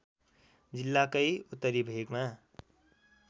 जिल्लाकै उत्तरी भेगमा